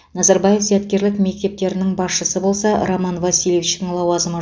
назарбаев зияткерлік мектептерінің басшысы болса роман васильевичтің лауазымы